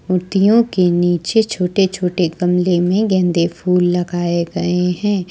मूर्तियों के नीचे छोटे छोटे गमले में गेंदे फूल लगाए गए हैं।